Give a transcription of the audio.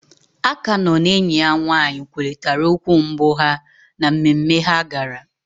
Akannœ na enyi ya nwaanyị kwurịtara okwu mbụ ha na mmemme ha gara.